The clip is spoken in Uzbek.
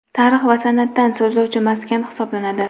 tarix va san’atdan so‘zlovchi maskan hisoblanadi.